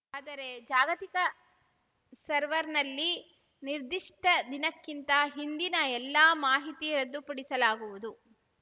ಆದರೆ ಜಾಗತಿಕ ಸರ್ವರ್‌ನಲ್ಲಿ ನಿರ್ದಿಷ್ಟದಿನಕ್ಕಿಂತ ಹಿಂದಿನ ಎಲ್ಲಾ ಮಾಹಿತಿ ರದ್ದುಪಡಿಸಲಾಗುವುದು